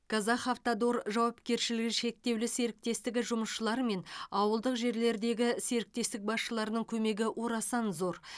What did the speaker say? казахавтодор жауапкершілігі шектеулі серіктестігі жұмысшылары мен ауылдық жерлердегі серіктестік басшыларының көмегі орасан зор